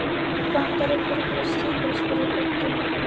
Vantar ykkur ekki stígvél? spurði Böddi.